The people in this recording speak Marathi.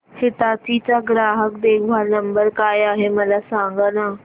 हिताची चा ग्राहक देखभाल नंबर काय आहे मला सांगाना